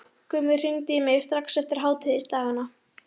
Gummi hringdi í mig strax eftir hátíðisdagana.